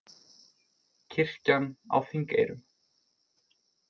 Kirkjan á Þingeyrum.